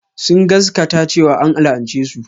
Sun gaskata cewa an la'ance su.